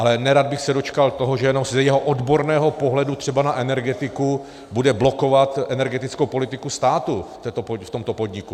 Ale nerad bych se dočkal toho, že jenom z jejího odborného pohledu třeba na energetiku bude blokovat energetickou politiku státu v tomto podniku.